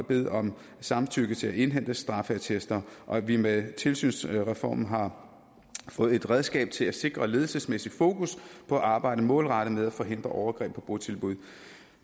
bede om samtykke til at indhente straffeattester og at vi med tilsynsreformen har fået et redskab til at sikre ledelsesmæssigt fokus på at arbejde målrettet med at forhindre overgreb i botilbud